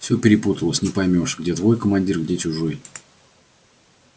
все перепуталось не поймёшь где твой командир где чужой